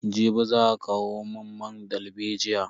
Jibi za a kawo mun man dalbejiya.